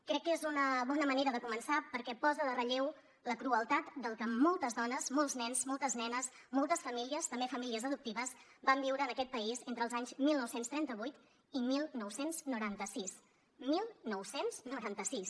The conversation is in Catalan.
crec que és una bona manera de començar perquè posa en relleu la crueltat del que moltes dones molts nens moltes nenes moltes famílies també famílies adoptives van viure en aquest país entre els anys dinou trenta vuit i dinou noranta sis dinou noranta sis